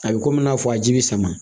A bɛ komi i n'a fɔ a ji bɛ sama